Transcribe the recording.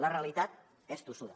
la realitat és tossuda